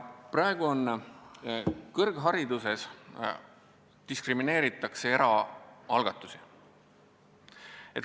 Praegu kõrghariduses diskrimineeritakse eraalgatusi.